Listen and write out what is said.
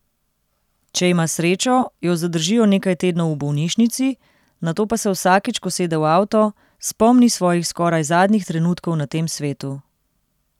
Če ima srečo, jo zadržijo nekaj tednov v bolnišnici, nato pa se vsakič, ko sede v avto, spomni svojih skoraj zadnjih trenutkov na tem svetu.